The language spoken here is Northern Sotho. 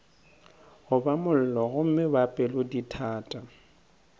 goba mollo gomme ba pelodithata